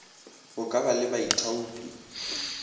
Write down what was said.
go ka ba le baithaopi